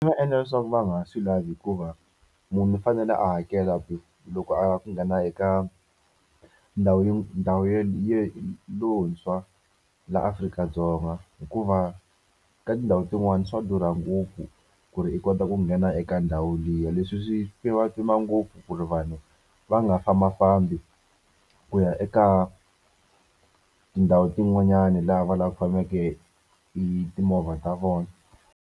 Nga endla leswaku va nga swi lavi hikuva munhu u fanele a hakela loko a lava ku nghena eka ndhawu ndhawu lontshwa laha Afrika-Dzonga, hikuva ka tindhawu tin'wani swa durha ngopfu ku ri i kota ku nghena eka ndhawu liya. Leswi swi ngopfu ku ri vanhu va nga fambafambi ku ya eka tindhawu tin'wanyana laha va faneleke hi timovha ta vona.